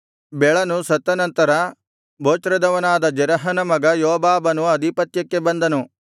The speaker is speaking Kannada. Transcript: ಬೆಳನು ಸತ್ತ ನಂತರ ಬೊಚ್ರದವನಾದ ಜೆರಹನ ಮಗ ಯೋಬಾಬನು ಅಧಿಪತ್ಯಕ್ಕೆ ಬಂದನು